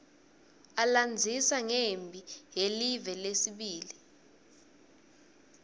alandzisa ngemphi yelive yesibili